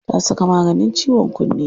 Ta saka maganin ciwon kunne.